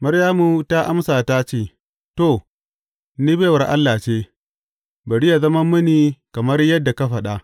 Maryamu ta amsa ta ce, To, ni baiwar Allah ce, bari yă zama mini kamar yadda ka faɗa.